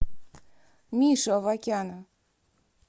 мишу авакяна